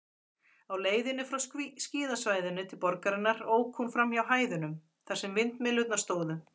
Á leiðinni frá skíðasvæðinu til borgarinnar ók hún framhjá hæðunum, þar sem vindmyllurnar stóðu.